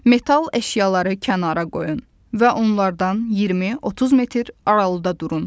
Metal əşyaları kənara qoyun və onlardan 20-30 metr aralıda durun.